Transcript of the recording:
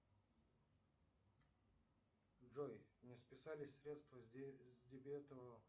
джой не списались средства с дебетового